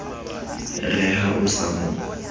re ha o sa mo